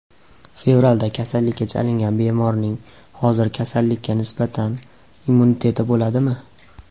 Fevralda kasallikka chalingan bemorning hozir kasallikka nisbatan immuniteti bo‘ladimi?